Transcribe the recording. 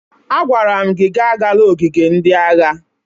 Agwara m gị agala ogige ndị agha!